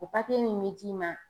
O papiye min be d'i ma